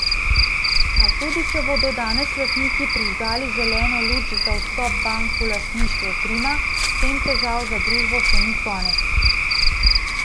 A tudi če bodo danes lastniki prižgali zeleno luč za vstop bank v lastništvo Trima, s tem težav za družbo še ni konec.